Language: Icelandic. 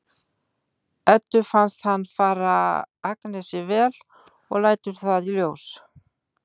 Eddu finnst hann fara Agnesi vel og lætur það í ljós.